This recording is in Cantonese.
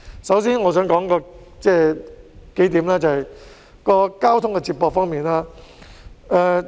首先，我想談談交通接駁方面。